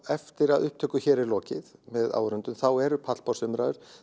eftir að upptöku hér er lokið með áhorfendum þá eru pallborðsumræður